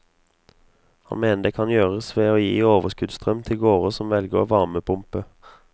Han mener det kan gjøres ved å gi overskuddsstrøm til gårder som velger varmepumpe.